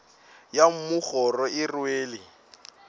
ya mmu kgoro e rwele